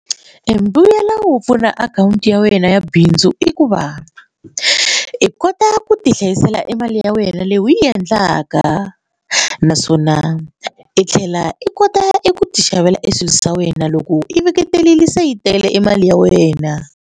Embuyelo wo pfula akhawunti ya wena ya bindzu i ku va i kota ku ti hlayisela e mali ya wena leyi u yi endlaka naswona i tlhela i kota i ku ti xavela e swilo swa wena loko i seketerile se yi tele e mali ya wena.